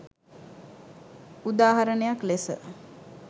උදා හරණයක් ලෙස